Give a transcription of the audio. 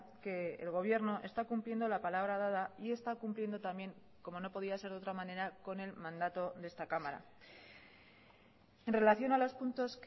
que el gobierno está cumpliendo la palabra dada y está cumpliendo también como no podía ser de otra manera con el mandato de esta cámara en relación a los puntos